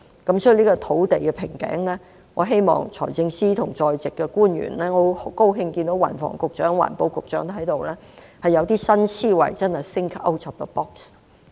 因此，在土地瓶頸上，我希望財政司司長和在席的官員——我很高興看到運輸及房屋局局長、環境局局長在席——能夠有新思維，真的 think out of the box。